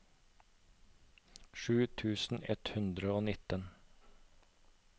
sju tusen ett hundre og nitten